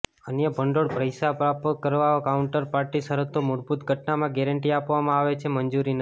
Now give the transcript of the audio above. અન્ય ભંડોળ પૈસા પ્રાપ્ત કરવા કાઉન્ટરપાર્ટી શરતો મૂળભૂત ઘટનામાં ગેરંટી આપવામાં આવે છે મંજૂરી નથી